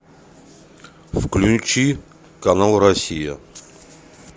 включи канал россия